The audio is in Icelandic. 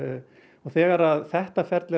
og þegar þetta ferli er